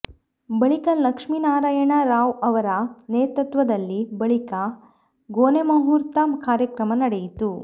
ಬಳಿಕ ಲಕ್ಷ್ಮೀನಾರಾಯಣ ರಾವ್ ಅವರ ನೇತೃತ್ವದಲ್ಲಿ ಬಳಿಕ ಗೊನೆಮಹೂರ್ತ ಕಾರ್ಯಕ್ರಮ ನಡೆಯಿತು